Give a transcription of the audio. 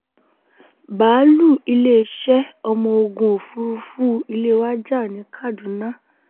báálù iléeṣẹ́ ọmọ ogun òfurufú ilé wa jà ní kaduna